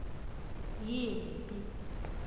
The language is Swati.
yimphi